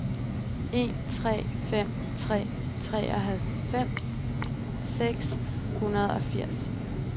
en tre fem tre treoghalvfems seks hundrede og firs